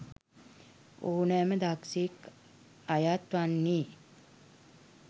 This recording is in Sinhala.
ඕනෑම දක්ෂයෙක් අයත් වන්නේ